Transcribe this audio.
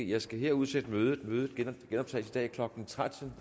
jeg skal her udsætte mødet mødet genoptages i dag klokken tretten